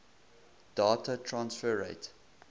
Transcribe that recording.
data transfer rate